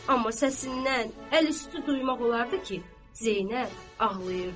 Amma səsindən, əli üstü duymaq olardı ki, Zeynəb ağlayırdı.